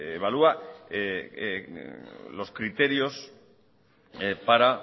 evalúa los criterios para